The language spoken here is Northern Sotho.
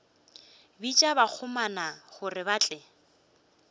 bitša bakgomana gore ba tle